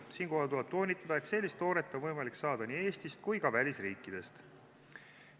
Siinkohal tuleb toonitada, et sellist toodet on võimalik saada nii Eestist kui ka välisriikidest.